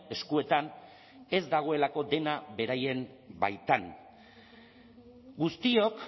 eskuetan ez dagoelako dena beraien baitan guztiok